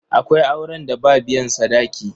Akwai auren da ba biyan sadaki.